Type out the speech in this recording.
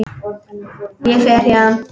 Ég fer héðan.